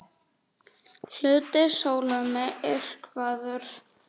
Hluti sólu myrkvaður